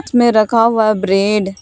इसमें रखा हुआ है ब्रेड ।